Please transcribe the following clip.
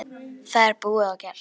Það er búið og gert!